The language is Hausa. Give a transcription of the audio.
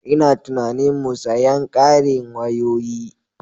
Ina tunanin mu sayen ƙarin wayoyi.